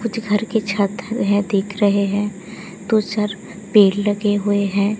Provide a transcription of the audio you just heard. कुछ घर के छत वह दिख रहे हैं दो चार पेड़ लगे हुए हैं।